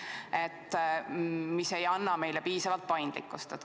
See aga ei anna meile piisavalt paindlikkust.